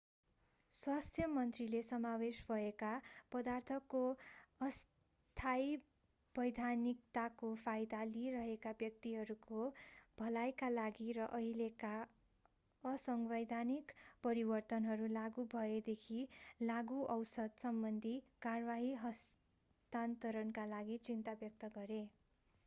स्वास्थ्य मन्त्रीले समावेश भएका पदार्थको अस्थायी वैधानिकताको फाइदा लिइरहेका व्यक्तिहरूको भलाइका लागि र अहिलेका असंवैधानिक परिवर्तनहरू लागू भएदेखि लागूऔषध सम्बन्धी कारवाही हस्तान्तरणका लागि चिन्ता व्यक्त गरे